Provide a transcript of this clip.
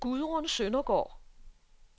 Gudrun Søndergaard